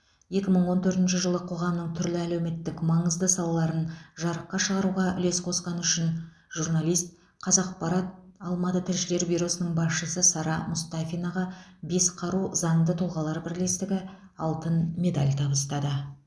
екі мың он төртінші жылы қоғамның түрлі әлеуметтік маңызды салаларын жарыққа шығаруға үлес қосқаны үшін журналист қазақпарат алматы тілшілер бюросының басшысы сара мұстафинаға бес қару заңды тұлғалар бірлестігі алтын медаль табыстады